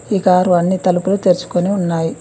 ఈ కారు అన్ని తలుపులు తెరుచుకొని ఉన్నాయి.